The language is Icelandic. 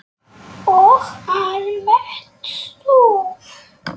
Og almennt stuð!